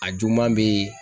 A juguman be ye